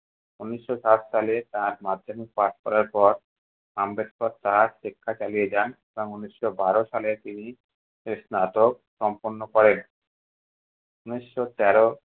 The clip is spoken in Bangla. ঊনিশশো সাত সালে তার মাধ্যমিক পাশ করার পর আম্বেদকর তার শিক্ষা চালিয়ে যান এবং ঊনিশশো বারো সালে তিনি স্নাতক সম্পন্ন করেন। ঊনিশশো তেরো